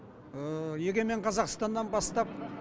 егемен қазақстаннан бастап